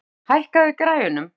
Ljótur, hækkaðu í græjunum.